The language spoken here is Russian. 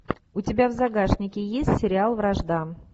у тебя в загашнике есть сериал вражда